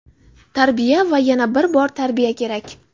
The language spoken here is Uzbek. tarbiya va yana bir bor tarbiya kerak.